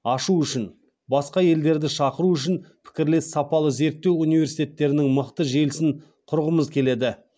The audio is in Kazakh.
ашу үшін басқа елдерді шақыру үшін пікірлес сапалы зерттеу университеттерінің мықты желісін құрғымыз келеді